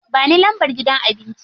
Ba ni lambar gidan abincin.